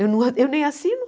Eu não a eu nem assino.